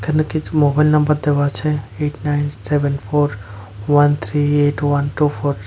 এখানে কিছু mobile number দেওয়া আছে eight nine seven four one three eight one two four.